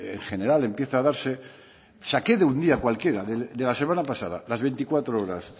en general empieza a darse saque de un día cualquiera de la semana pasada las veinticuatro horas